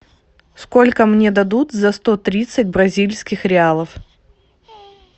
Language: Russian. сколько мне дадут за сто тридцать бразильских реалов